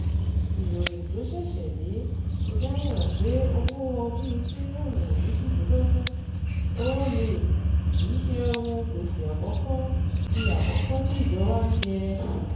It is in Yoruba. Ìròyìn tó ṣẹ̀ṣẹ̀ dé fi dámọ̀ràn pé owó bíitíríọ̀nù méjìlélógún ó-lé kìí ṣe òhun gbèsè àkọ́kọ́ tí àkọ́kọ́ tí ìjọba n jẹ.